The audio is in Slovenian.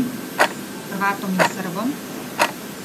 Hrvatom in Srbom?